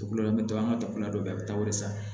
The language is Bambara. Dugukolo la an bɛ to an ka dafolo la dɔ bɛ yen a bɛ taa o de san